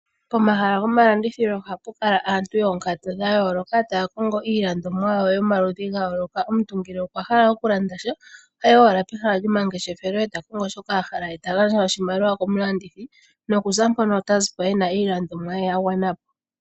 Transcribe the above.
Pomahala gomalandithilo ohapu kala aantu yoonkatu dhayooka taya kongo iilandomwa yomaludhi gayooloka. Omuntu ngele okwa hala okulanda sha, otayi owala pemahala lyomangeshefelo e ta kongo shoka a hala ye ta gandja oshimaliwa komulandithi. Noku za mpono otazi po ena iilandomwa ye yagwana po.